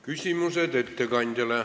Küsimused ettekandjale.